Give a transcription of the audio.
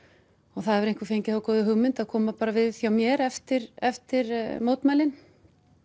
og það hefur einhver fengið þá góðu hugmynd að koma bara við hjá mér eftir eftir mótmælin